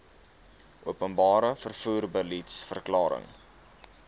openbare vervoer beliedsverklaring